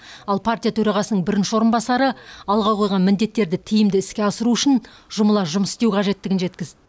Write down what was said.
ал партия төрағасының бірінші орынбасары алға қойған міндеттерді тиімді іске асыру үшін жұмыла жұмыс істеу қажеттігін жеткізді